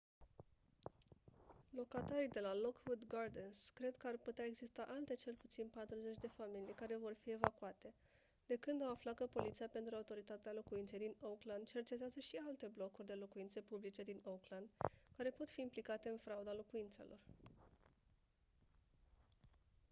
locatarii de la lockwood gardens cred că ar putea exista alte cel puțin 40 de familii care vor fi evacuate de când au aflat că poliția pentru autoritatea locuinței din oakland cercetează și alte blocuri de locuințe publice din oakland care pot fi implicate în frauda locuințelor